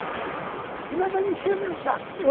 Se não, ele vai me encher o meu saco.